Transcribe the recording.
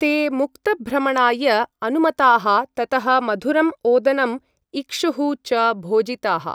ते मुक्तभ्रमणाय अनुमताः ततः मधुरम् ओदनम्, इक्षुः च भोजिताः।